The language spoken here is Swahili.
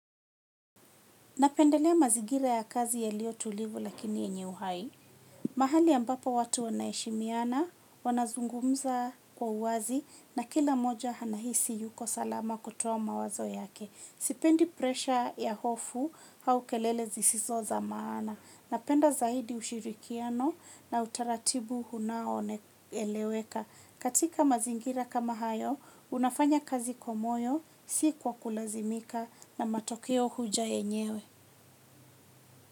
Napendelea mazigira ya kazi yaliyo tulivu lakini yenye uhai. Mahali ambapo watu wanaheshimiana, wanazungumza kwa uwazi na kila moja hanahisi yuko salama kutowa mawazo yake. Sipendi presha ya hofu haukelele zisizo za maana. Napenda zaidi ushirikiano na utaratibu hunao eleweka. Katika mazingira kama hayo unafanya kazi kwa moyo si kwa kulazimika na matokeo huja yenyewe.